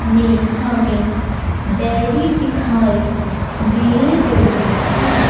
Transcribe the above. में हमें डेयरी दिखाई दे रही है।